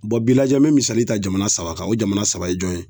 Bɔn bi lajɛ n be misali ta jamana saba kan o jamana saba ye jɔn ye